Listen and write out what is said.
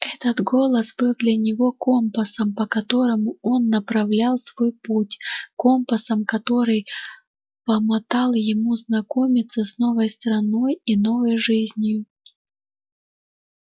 этот голос был для него компасом по которому он направлял свой путь компасом который помотал ему знакомиться с новой страной и новой жизнью